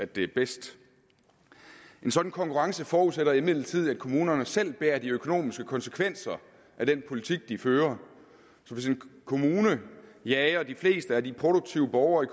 det er bedst en sådan konkurrence forudsætter imidlertid at kommunerne selv bærer de økonomiske konsekvenser af den politik de fører så hvis en kommune jager de fleste af de produktive borgere